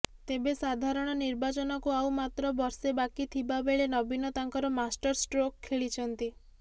ତେବେ ସାଧାରଣ ନିର୍ବାଚନକୁ ଆଉ ମାତ୍ର ବର୍ଷେ ବାକି ଥିବାବେଳେ ନବୀନ ତାଙ୍କର ମାଷ୍ଟର ଷ୍ଟ୍ରୋକ୍ ଖେଳିଛନ୍ତି